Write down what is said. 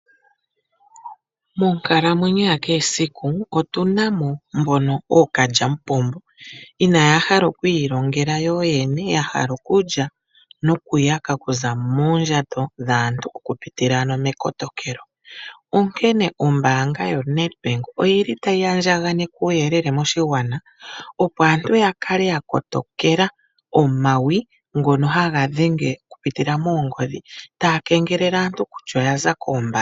Monkalamwenyo yakehe esiku otuna mo mbono ookalyamupombo, inaya hala okwiilongela yoyene. Oyahala okulya okuza moondjato dhaantu, okupitila mekotokelo, onkene ombaanga yoNedbank oyili tayi andjaganeke uuyelele moshigwana , opo aantu yakale yakotokela omawi ngono haga dhenge okupitilila moongodhi, taya kengelele aantu kutya oyasa koombaanga.